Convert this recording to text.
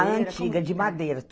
A antiga, de madeira.